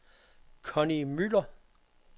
Connie Müller